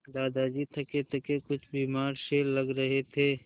दादाजी थकेथके कुछ बीमार से लग रहे थे